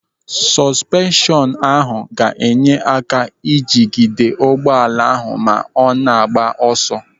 Sọsụpenshọnụ ahụ ga-enye aka ijigide ụgbọala ahụ ma ọ na-agba ọsọ.